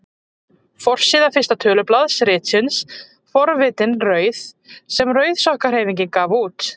Forsíða fyrsta tölublaðs ritsins Forvitin rauð sem Rauðsokkahreyfingin gaf út.